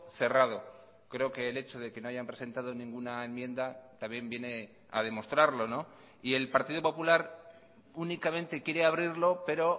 cerrado creo que el hecho de que no hayan presentado ninguna enmienda también viene a demostrarlo y el partido popular únicamente quiere abrirlo pero